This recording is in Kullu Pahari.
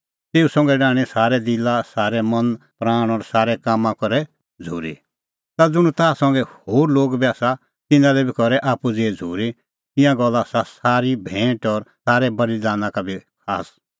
तेऊ संघै डाहणीं सारै दिला मन प्राण और सारै कामां करै झ़ूरी ता ज़ुंण ताह संघै होर लोग बी आसा तिन्नां लै बी करै आप्पू ज़ेही झ़ूरी ईंयां गल्ला आसा सारी भैंट और सारै बल़ीदाना का बी खास